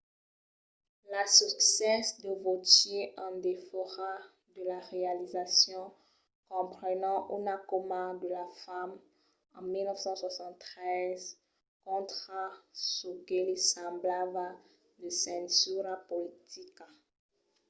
las succèsses de vautier en defòra de la realizacion comprenon una cauma de la fam en 1973 contra çò que li semblava de censura politica